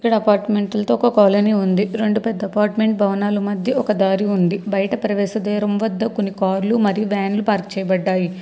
ఇక్కడ అపార్ట్మెంట్లతో ఒక కాలనీ ఉంది రెండు పెద్ద అపార్ట్మెంట్ భవనాలు మధ్య ఒక దారి ఉంది బయట ప్రవేశ ద్వేరం వద్ద కొన్ని కార్లు మరియు వ్యాన్లు పార్క్ చేయబడ్డాయి.